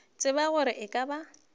tsebe gore e ka ba